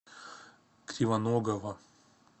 кривоногова